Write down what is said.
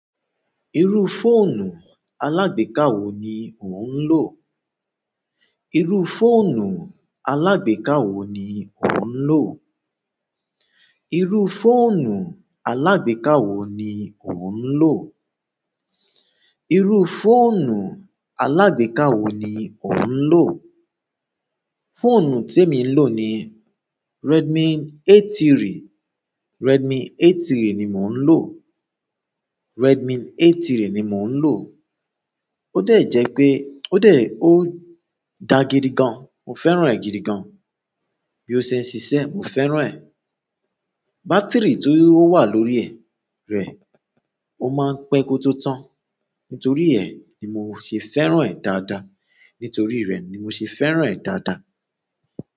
Irú fóònù alágbèéká wo ni ò ń lò? Irú fóònù alágbèéká wo ni ò ń lò? Irú fóònù alágbèéká wo ni ò ń lò? Irú fóònù alágbèéká wo ni ò ń lò? Fóònù tí èmi ń lò ni Redmi A3. Redmi A3 ni mò ń lò. Redmi A3 ni mò ń lò. Ó de jẹ́ pé, ó de, ó dá gidi gan. Mo fẹ́ràn rẹ̀ gidi gan. Bí ó ṣe ń ṣiṣẹ́, mo fẹ́ràn rẹ̀. Bátìrì tó wà lórí è rẹ̀, ó máa ń pẹ́ kótó tán. Nítorí è, ni mò ṣe fẹ́ràn rẹ̀ dáadáa. Nítorí rẹ̀ ni mò ṣe fẹ́ràn rẹ̀ dáadáa.